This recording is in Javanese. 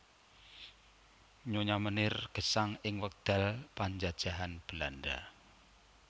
Nyonya Meneer gesang ing wekdal panjajahan Belanda